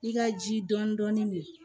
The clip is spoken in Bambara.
I ka ji dɔɔnin dɔɔnin don